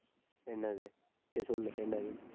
என்னது? சரி சொல்லு என்னது